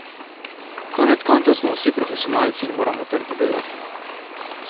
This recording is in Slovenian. Konec koncev smo vsi profesionalci in moramo trdo delati.